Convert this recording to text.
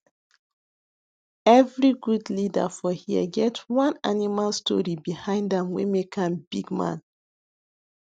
every good leader for here get one animal story behind am wey make am bigman